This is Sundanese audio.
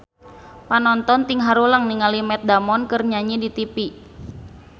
Panonton ting haruleng ningali Matt Damon keur nyanyi di tipi